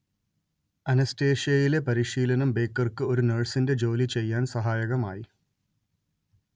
അനസ്തേഷ്യയിലെ പരിശീലനം ബേക്കർക്ക് ഒരു നഴ്‌സിന്റെ ജോലി ചെയ്യാൻ സഹായകമായി